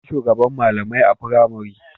Akwai shugaban malamai a pramari